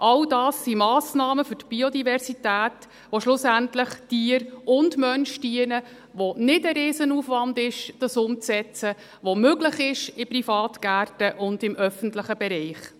All das sind Massnahmen für die Biodiversität, die schlussendlich Tier Mensch dienen, bei denen es nicht ein riesiger Aufwand ist, um sie umzusetzen, die möglich sind in Privatgärten und im öffentlichen Bereich.